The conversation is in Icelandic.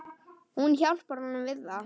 Hún hjálpar honum við það.